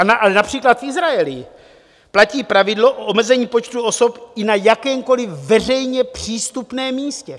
Ale například v Izraeli platí pravidlo o omezení počtu osob i na jakémkoliv veřejně přístupném místě.